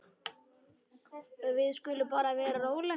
Við skulum bara vera róleg.